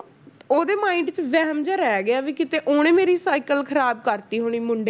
ਉਹਦੇ mind 'ਚ ਵਹਿਮ ਜਿਹਾ ਰਹਿ ਗਿਆ ਵੀ ਕਿਤੇ ਉਹਨੇ ਮੇਰੀ ਸਾਇਕਲ ਖ਼ਰਾਬ ਕਰ ਦਿੱਤੀ ਹੋਣੀ ਮੁੰਡੇ,